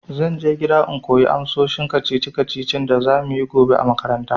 Zan je gida in koyi amsoshin kacici kacicin da za muyi gobe a makaranta.